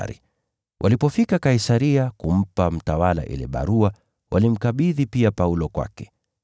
Askari walipofika Kaisaria, walimpa mtawala ile barua, na kumkabidhi Paulo kwake.